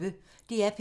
DR P1